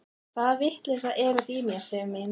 Hvaða vitleysa er þetta í þér, Sif mín!